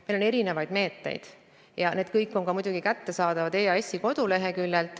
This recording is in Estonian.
Meil on erinevaid meetmeid ja need kõik on kättesaadavad ka EAS-i koduleheküljel.